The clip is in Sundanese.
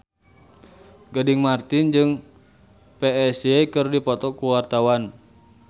Gading Marten jeung Psy keur dipoto ku wartawan